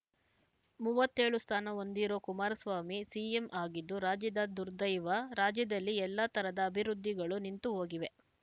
ಮೂವತ್ತೇಳು ಸ್ಥಾನ ಹೊಂದಿರೋ ಕುಮಾರಸ್ವಾಮಿ ಸಿಎಂ ಆಗಿದ್ದು ರಾಜ್ಯದ ದುರ್ದೈವ ರಾಜ್ಯದಲ್ಲಿ ಎಲ್ಲ ತರದ ಅಭಿವೃದ್ಧಿಗಳೂ ನಿಂತು ಹೋಗಿವೆ